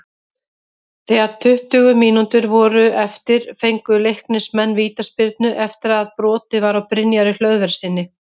Þegar tuttugu mínútur voru eftir fengu Leiknismenn vítaspyrnu eftir að brotið var á Brynjari Hlöðverssyni.